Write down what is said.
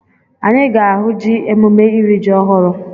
Anyị ga-ahụ ji emume iri ji ọhụrụ.